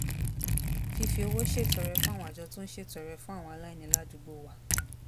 fífi owó ṣètọrẹ fún àwọn àjọ tó ń ṣètọrẹ fún àwọn aláìní ládùúgbò wa